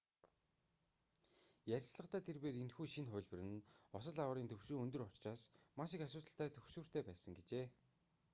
ярилцлагадаа тэрбээр энэхүү шинэ хувилбар нь осол аваарын түвшин өндөр учраас маш их асуудалтай түгшүүртэй байсан гэжээ